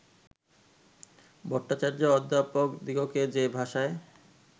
ভট্টাচার্য অধ্যাপকদিগকে যে ভাষায়